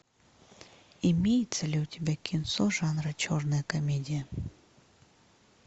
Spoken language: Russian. имеется ли у тебя кинцо жанра черная комедия